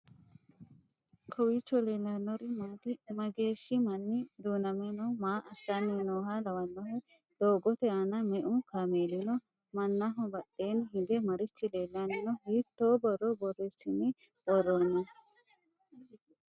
kowiicho leellannori maati? mageehshi manni duu'name no?maa assanni nooha lawannohe? doogote aana me'u kaameeli no?mannaho badheenni hige marichi leellanno? hiitto borro borreessi'ne worroonni?